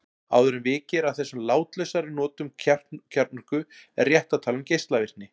Áður en vikið er að þessum látlausari notum kjarnorku er rétt að tala um geislavirkni.